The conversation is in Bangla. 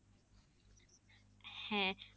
হ্যাঁ